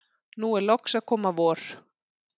nú er loks að koma vor.